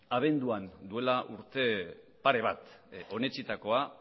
abenduan duela urte pare bat onetsitakoa